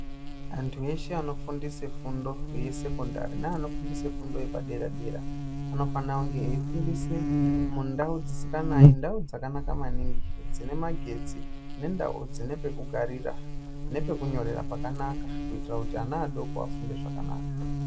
Antu eshe anofundise fundo yesekondari neanofundise fundo yepadera-dera anofana kunge eifundisa mundau dzisinganayi ndau dzakanaka maningi, dzine magetsi, nendau dzine pekugarira nepekunyorera pakanaka kuitira kuti ana adoko afunde zvakanaka.